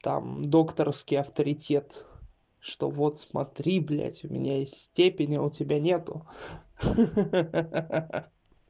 там докторский авторитет что вот смотри блять у меня есть степени а у тебя нету ха-ха-ха